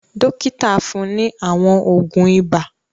Dọ́kítá fún ní àwọn òògùn ibà.